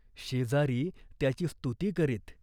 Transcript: शेजारी त्याची स्तुती करीत.